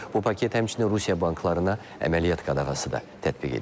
Bu paket həmçinin Rusiya banklarına əməliyyat qadağası da tətbiq edir.